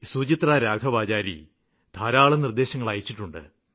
സുചിത്രാരാഘവാചാരി ധാരാളം നിര്ദ്ദേശങ്ങള് അയച്ചിട്ടുണ്ട്